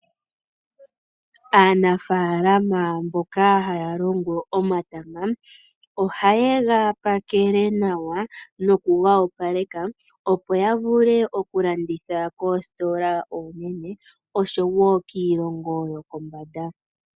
Aanafalama mboka haya longo omatama ohaye gapakele nawa nokuga opaleka, opo ya vule okulanditha koositola oonene oshowo kiilongo yokombanda.